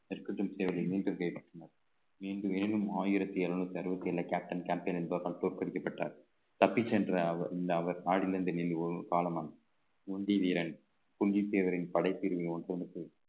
மீண்டும் ஆயிரத்தி எழுநூத்தி அறுபத்தி ஏழு captain campaign என்பவர் தோற்கடிக்கப்பட்டார் தப்பிச் சென்ற அவர் அவர் மாடியில் இருந்து ஒரு காலம் ஒண்டிவீரன் தேவரின்